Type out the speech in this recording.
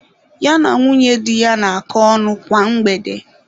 Ya na nwunye di ya na-akọ ọnụ kwa mgbede.